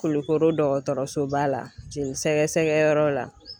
Kulukoro dɔgɔtɔrɔsoba la jelisɛgɛsɛgɛyɔrɔ la